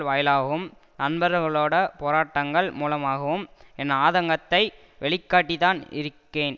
வாயிலாகவும் நண்பர்களோட போராட்டங்கள் மூலமாகவும் என் ஆதங்கத்தை வெளிக்காட்டி தான் இருக்கேன்